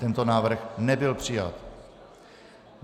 Tento návrh nebyl přijat.